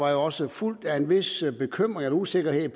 da også fulgt af en vis bekymring eller usikkerhed